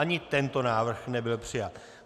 Ani tento návrh nebyl přijat.